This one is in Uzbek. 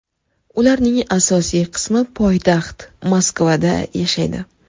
Ularning asosiy qismi poytaxt Moskvada yashaydi.